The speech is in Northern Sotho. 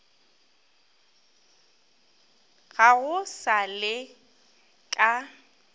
ga go sa le ka